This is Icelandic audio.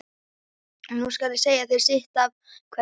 Nú skal ég segja þér sitt af hverju.